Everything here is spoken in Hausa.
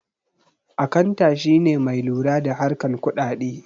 Akanta shine mai lura da harkan kudade